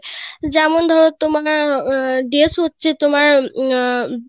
যেমন ধরো তোমার উম তোমার Dress হচ্ছে তোমার উম